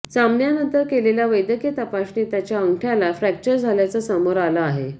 सामन्यानंतर केलेल्या वैद्यकीय तपासणीत त्याच्या अंगठ्याला फ्रॅक्चर झाल्याचं समोर आलं आहे